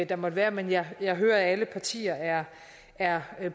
der måtte være men jeg hører hører at alle partier er er